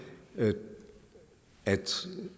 at